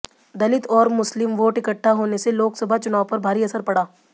दलित और मुस्लिम वोट इकठ्ठा होने से लोकसभा चुनाव पर भारी असर पड़ा